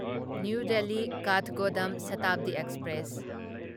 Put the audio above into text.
new Delhi Kathgodam Shatabdi express